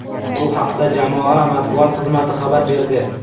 Bu haqda jamoa matbuot xizmati xabar berdi.